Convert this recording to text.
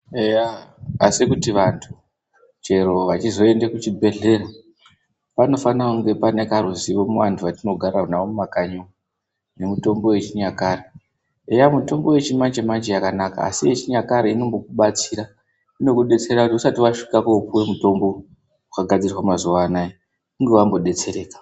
Eya! asi kuti vantu chero vachizoenda kuchibhehlera panofane kunge panekaruzivo muvantu vatinogare navo mumakanyi umwo nemitombo yechinyakare eya mitombo yechimanjemanje yakanaka asi yechinyakare inombokubatsira, inokudetsera kuti usati wasvika kopiwe mutombo wakagadzirwa mazuwa anaya unge wambodetsereka.